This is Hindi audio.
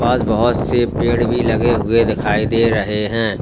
पास बहोत से पेड़ भी लगे हुए दिखाई दे रहे हैं।